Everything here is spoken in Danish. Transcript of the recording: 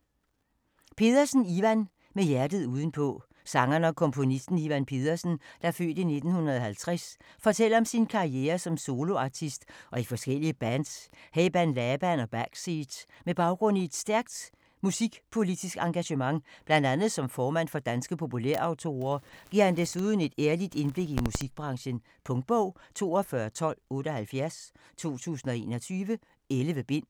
Pedersen, Ivan: Med hjertet udenpå Sangeren og komponisten, Ivan Pedersen (f. 1950), fortæller om sin karriere som soloartist og i forskellige bands, heriblandt Laban og Backseat. Med baggrund i et stærkt musikpolitisk engagement, bl.a. som formand for Danske Populær Autorer, giver han desuden et ærligt indblik i musikbranchen. Punktbog 421278 2021. 11 bind.